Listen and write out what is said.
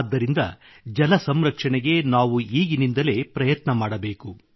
ಆದ್ದರಿಂದ ಜಲಸಂರಕ್ಷಣೆಗೆ ನಾವು ಈಗಿನಿಂದಲೇ ಪ್ರಯತ್ನ ಮಾಡಬೇಕು